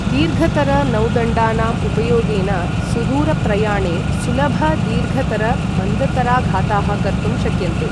दीर्घतर नौदण्डानाम् उपयोगेन सुदूरप्रयाणे सुलभ दीर्घतर मन्दतराघाताः कर्तुं शक्यन्ते।